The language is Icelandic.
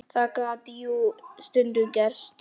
Það gat jú stundum gerst!